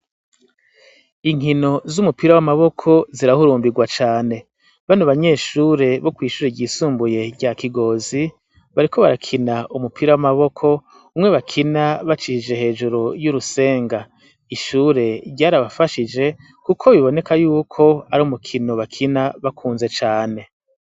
Inkino z'umupira w'amaboko zirahurumbirwa cane bani banyeshure bo kw'ishure ryisumbuye rya kigozi bariko barakina umupira w'amaboko umwe bakina bacishije hejuru y'urusenga ishure ryar abafashije, kuko biboneka yuko ari umukino bakina bakunzea ame.